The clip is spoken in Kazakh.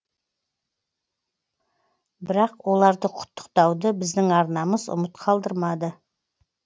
бірақ оларды құттықтауды біздің арнамыз ұмыт қалдырмады